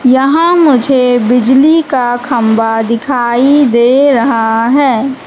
यहां मुझे बिजली का खंभा दिखाई दे रहा है।